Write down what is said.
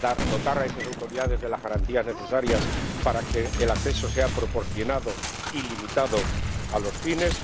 dotar a esas autoridades de las garantías necesarias para que el acceso sea proporcionado y limitado a los fines